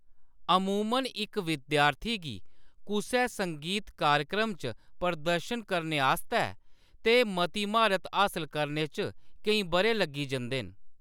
अमूमन इक विद्यार्थी गी कुसै संगीत कार्यक्रम च प्रदर्शन करने आस्तै ते मती म्हारत हासल करने च केईं बʼरे लग्गी जंदे न।